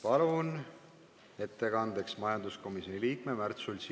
Palun ettekandeks kõnetooli majanduskomisjoni liikme Märt Sultsi.